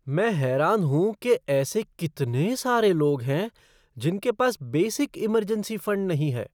मैं हैरान हूं कि ऐसे कितने सारे लोग हैं जिनके पास बेसिक इमरजेंसी फ़ंड नहीं है।